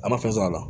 A ma fɛn sɔrɔ a la